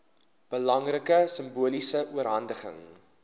belangrike simboliese oorhandiging